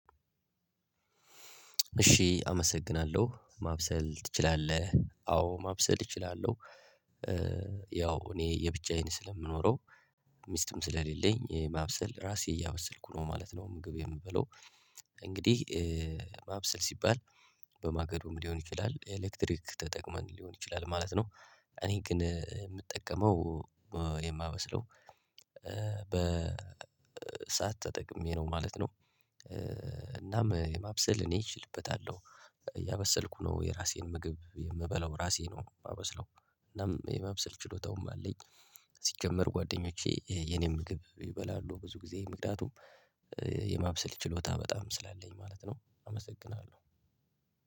እሺ አመሰግናለሁ ማብሰል ትችላለህ? አዎ ማብሰል እችላለሁ። ያው እኔ የብቻዬን ስለምኖረው። ሚስትም ስለሌለኝ የማብሰል ራሴ እያበሰልኩ ነው ማለት ነው። ምግብ የምበለው። እንግዲህ ማብሰል ሲባል። በማገዶም ሊሆን ይችላል ኤሌክትሪክ ተጠቅመን ሊሆን ይችላል ማለት ነው። እኔ ግን የምጠቀመው የማበስለው በሰአት ተጠቅሜ ነው ማለት ነው። እናም የማብሰል እኔ እችልበታለሁ። እያበሰልኩ ነው የራሴን ምግብ የምበላው ራሴ ነው የማበስለው እናም የማብሰል ችሎታውም አለኝ። ሲጀመር ጓደኞቼ የኔ ምግብ ይበላሉ ብዙ ጊዜ ምክንያቱም የማብሰል ችሎታ በጣም ስላለኝ ማለት ነው። አመሰግናለሁ።